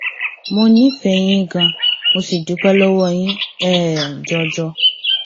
mo nífẹ̀ẹ́ yín ganan mo sì dúpẹ lọwọ yín um jọjọ